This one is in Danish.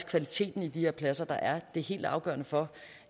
kvaliteten i de her pladser der er det helt afgørende for